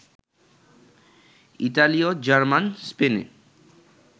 ইতালীয়, জার্মান, স্পেনীয়